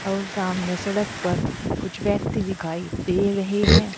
और सामने सड़क पर कुछ व्यक्ति दिखाई दे रहे है।